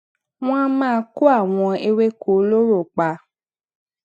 wón a máa kó àwọn ewéko olóró pa